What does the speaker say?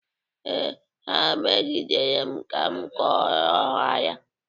Ee, ha megidere m ka m kọrọ ha ya.